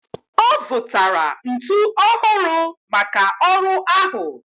Ọ zụtara ntu ọhụrụ maka ọrụ ahụ